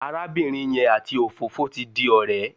Arábìnrin yẹn àti òfófó ti di ọ̀rẹ́.